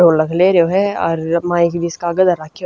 ढोलक ले रयो ह अर माइक भी इसकह आग धर राख्यो--